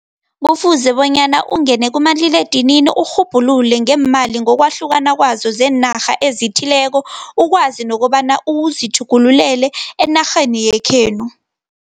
Kufuze bonyana ungene kumaliledinini urhubhulule, ngeemali ngokwahlukana kwazo zeenarha ezithileko, ukwazi nokobana uzithjugululele enarheni yekhenu.